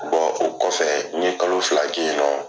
o kɔfɛ n ye kalo fila kɛ yen nɔ.